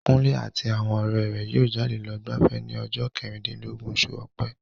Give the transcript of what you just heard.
Kunle àti àwọn ọ̀rẹ́ rẹ̀ yóò jáde lọ gbafẹ́ ní ọjọ́ kẹrìndínlọ́gbọ̀n oṣù ọ̀pẹ.